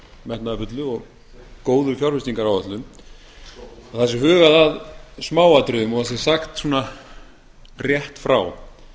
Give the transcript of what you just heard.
metnaðarfullu og góðu fjárfestingaráætlun að það sé hugað að smáatriðum og það sé sagt svona rétt frá